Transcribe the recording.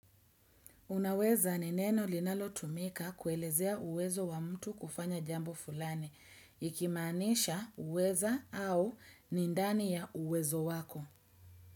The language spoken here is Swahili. Unaweza ni neno linalo tumika kuelezea uwezo wa mtu kufanya jambo fulani, ikimaanisha uweza au nindani ya uwezo wako.